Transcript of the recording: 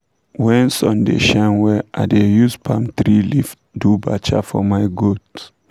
when sun da shine wella i da use palm tree leave do bacha for my goat